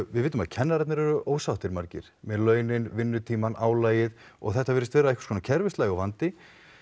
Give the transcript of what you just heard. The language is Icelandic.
við vitum að kennararnir eru ósáttir margir með vinnutímana launin álagið og þetta virðist vera einhvers konar kerfislægur vandi